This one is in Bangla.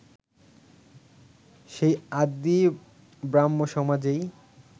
সেই আদি ব্রাহ্মসমাজেই